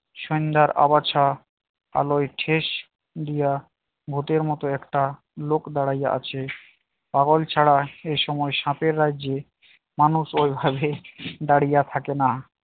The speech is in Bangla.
সন্ধ্যা আগাছা আলোয় ঠেস দিয়ে ভূতের মত একটা লোক দাঁড়াইয়া আছে পাগল ছাড়া এ সময় সাপের রাজ্যে মানুষ ওভাবে দাঁড়িয়ে থাকে না